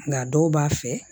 Nka dɔw b'a fɛ